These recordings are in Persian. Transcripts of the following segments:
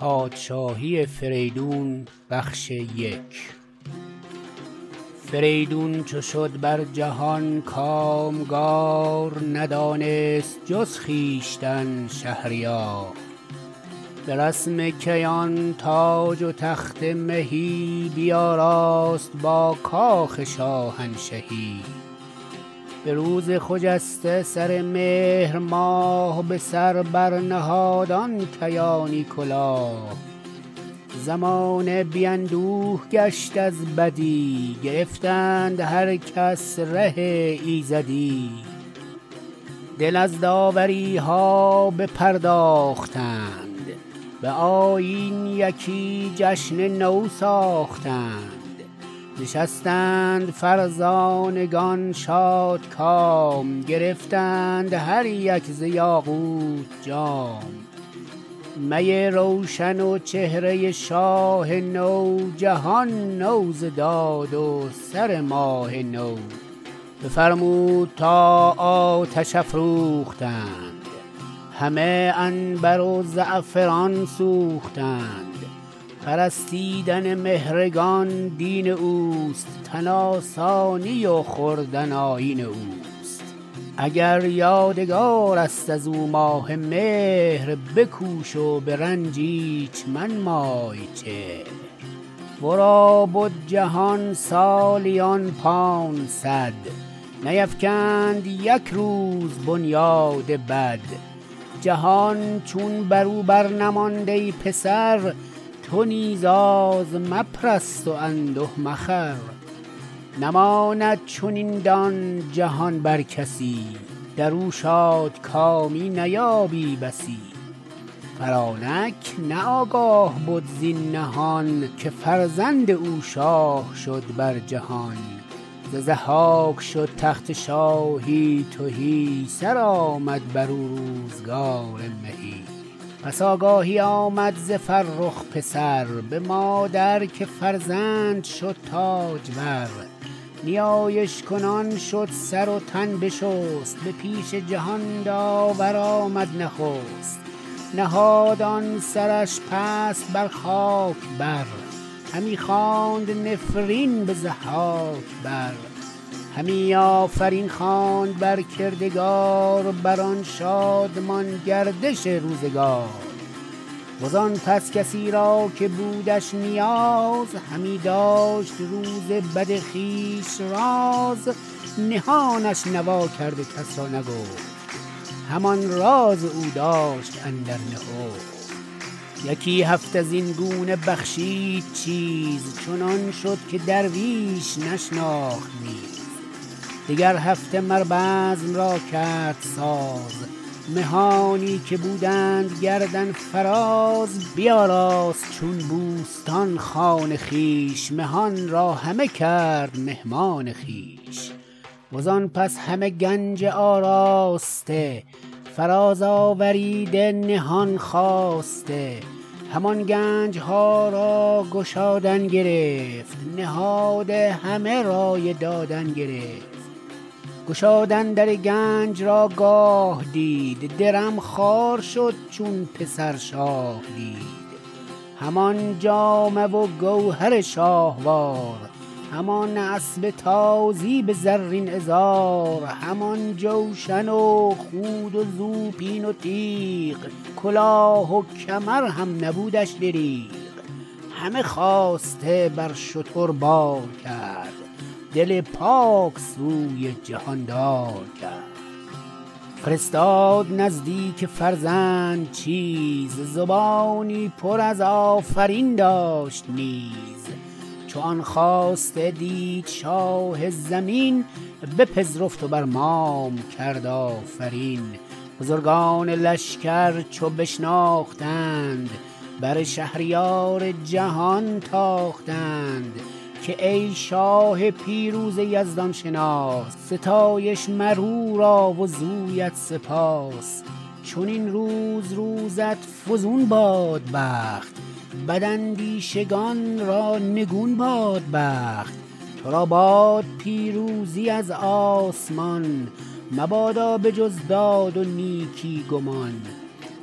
فریدون چو شد بر جهان کامگار ندانست جز خویشتن شهریار به رسم کیان تاج و تخت مهی بیاراست با کاخ شاهنشهی به روز خجسته سر مهر ماه به سر بر نهاد آن کیانی کلاه زمانه بی اندوه گشت از بدی گرفتند هر کس ره ایزدی دل از داوری ها بپرداختند به آیین یکی جشن نو ساختند نشستند فرزانگان شادکام گرفتند هر یک ز یاقوت جام می روشن و چهره شاه نو جهان نو ز داد و سر ماه نو بفرمود تا آتش افروختند همه عنبر و زعفران سوختند پرستیدن مهرگان دین اوست تن آسانی و خوردن آیین اوست اگر یادگار است از او ماه مهر بکوش و به رنج ایچ منمای چهر ورا بد جهان سالیان پانصد نیفکند یک روز بنیاد بد جهان چون برو بر نماند ای پسر تو نیز آز مپرست و انده مخور نماند چنین دان جهان بر کسی درو شادکامی نیابی بسی فرانک نه آگاه بد زین نهان که فرزند او شاه شد بر جهان ز ضحاک شد تخت شاهی تهی سرآمد برو روزگار مهی پس آگاهی آمد ز فرخ پسر به مادر که فرزند شد تاجور نیایش کنان شد سر و تن بشست به پیش جهان داور آمد نخست نهاد آن سرش پست بر خاک بر همی خواند نفرین به ضحاک بر همی آفرین خواند بر کردگار بر آن شادمان گردش روزگار وزان پس کسی را که بودش نیاز همی داشت روز بد خویش راز نهانش نوا کرد و کس را نگفت همان راز او داشت اندر نهفت یکی هفته زین گونه بخشید چیز چنان شد که درویش نشناخت نیز دگر هفته مر بزم را کرد ساز مهانی که بودند گردن فراز بیاراست چون بوستان خان خویش مهان را همه کرد مهمان خویش وزان پس همه گنج آراسته فراز آوریده نهان خواسته همان گنج ها را گشادن گرفت نهاده همه رای دادن گرفت گشادن در گنج را گاه دید درم خوار شد چون پسر شاه دید همان جامه و گوهر شاهوار همان اسپ تازی به زرین عذار همان جوشن و خود و زوپین و تیغ کلاه و کمر هم نبودش دریغ همه خواسته بر شتر بار کرد دل پاک سوی جهاندار کرد فرستاد نزدیک فرزند چیز زبانی پر از آفرین داشت نیز چو آن خواسته دید شاه زمین بپذرفت و بر مام کرد آفرین بزرگان لشگر چو بشناختند بر شهریار جهان تاختند که ای شاه پیروز یزدان شناس ستایش مر او را و زویت سپاس چنین روز روزت فزون باد بخت بد اندیشگان را نگون باد بخت تو را باد پیروزی از آسمان مبادا به جز داد و نیکی گمان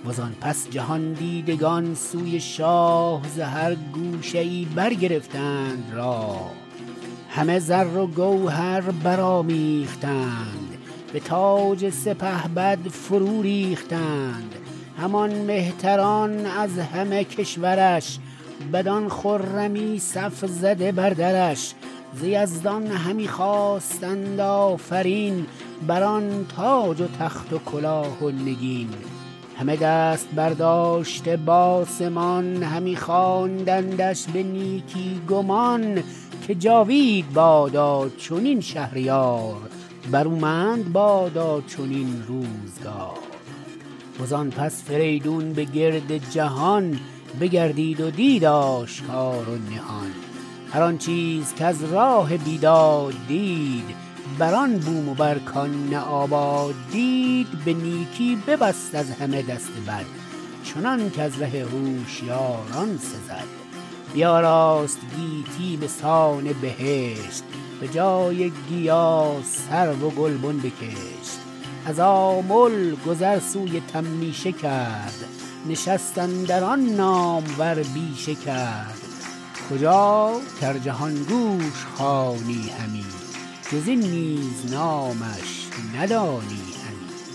و زآن پس جهان دیدگان سوی شاه ز هر گوشه ای برگرفتند راه همه زر و گوهر برآمیختند به تاج سپهبد فرو ریختند همان مهتران از همه کشور ش بدان خرمی صف زده بر درش ز یزدان همی خواستند آفرین بر آن تاج و تخت و کلاه و نگین همه دست برداشته بآسمان همی خواندندش به نیکی گمان که جاوید بادا چنین شهریار برومند بادا چنین روزگار و زآن پس فریدون به گرد جهان بگردید و دید آشکار و نهان هر آن چیز کز راه بیداد دید هر آن بوم و بر کآن نه آباد دید به نیکی ببست از همه دست بد چنانک از ره هوشیاران سزد بیاراست گیتی بسان بهشت به جای گیا سرو گلبن بکشت از آمل گذر سوی تمیشه کرد نشست اندر آن نامور بیشه کرد کجا کز جهان گوش خوانی همی جز این نیز نامش ندانی همی